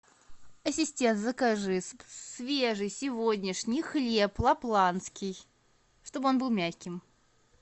ассистент закажи свежий сегодняшний хлеб лапландский чтобы он был мягкий